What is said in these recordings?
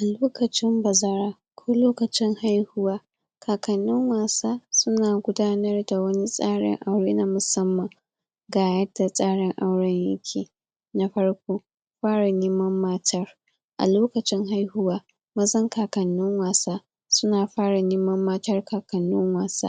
a lokacin bazara ko lokacin haihuwa kakannin wasa suna gudanar da wani tsarin aure na musamman ga yadda tsarin auren yake na farko fara neman matar a lokacin haihuwa mazan kakannin wasa suna fara neman matan kakannin wasa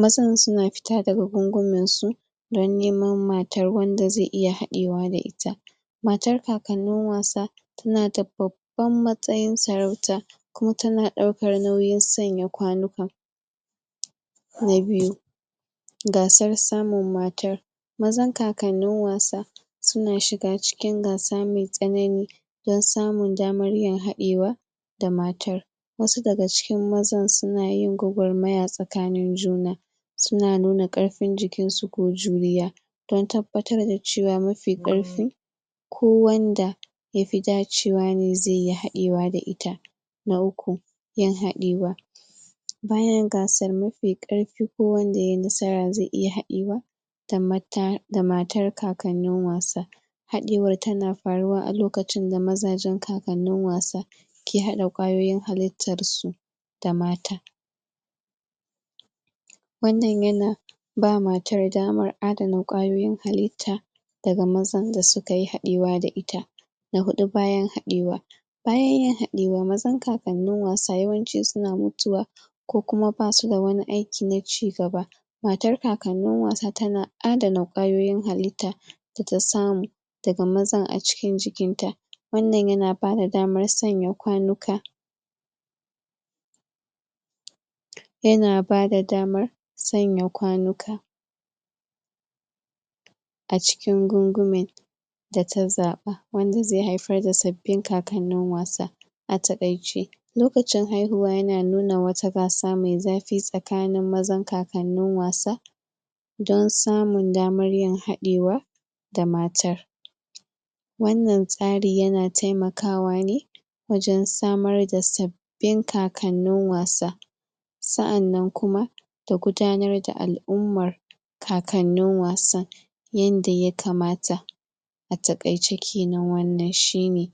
mazan suna fita daga gungumen su don neman matar wanda zai iya haɗewa da ita matar kakannin wasa tanada babban matsayin sarauta ko tana ɗaukar nauyin sanya kwanuka na biyu gasar samun matar mazan kakannin wasa suna shiga cikin gasar mai tsanani don samun damar yin haɗewa da matar wasu daga cikin mazan sunayin gwagwarmaya tsakanin juna suna nuna ƙarfin jikin su ko juriya don tabbatar da cewa mafi ƙarfi ko wanda yafi dacewane zai yi haɗewa da ita na uku yin haɗewa bayan gasar mafi ƙarfi ko wanda yayi nasara zai iya haɗewa da mata da matar kakannin wasa. haɗewa tana faruwa a lokacin da mazajen kakannin wasa ke haɗa ƙwayoyin halittar su da mata wannan yana ba matar damar adana ƙwayoyin halitta daga mazan da sukayi haɗewa da ita na huɗu bayan haɗewa bayan yin haɗewa mazan kakannin wasan yawanci suna mutuwa ko kuma basu da wani aiki na ci gaba matar kakannin wasa tana adana ƙwayoyin halitta data samu daga mazan a cikin jikin ta wannan yana bada damar sanya kwanuka yana bada damar sanya kwanuka a cikin gungumen data zaɓa wanda zai haifar da sabbin kakannin wasa a taƙaice lokacin haihuwa yana nuna wata gasa mai zafi tsakanin mazan kakannin wasa don samun damar yin haɗewa da matar. wannan tsari yana taimakawa ne wajen samar da sab bin kakannin wasa. sa'annan kuma da gudanar da al'ummar kakannin wasan yanda ya kamata. a taƙaice kenan wannan shine.